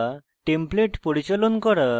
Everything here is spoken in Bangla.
templates পরিচালন করা